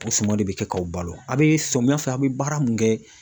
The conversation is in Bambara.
O suma de bɛ kɛ k'aw balo a bɛ samiya fɛ a bɛ baara min kɛ.